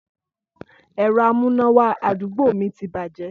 Ẹ̀rọ amúnáwá àdúgbò mi ti bàjẹ́